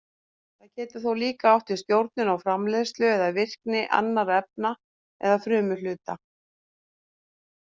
Það getur þó líka átt við stjórnun á framleiðslu eða virkni annarra efna eða frumuhluta.